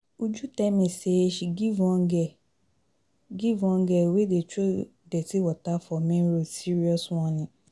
Uju tell me say she give one geh, give one geh wey dey throw dirty water for main road serious warning